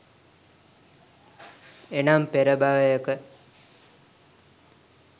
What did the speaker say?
එනම්, පෙර භවයක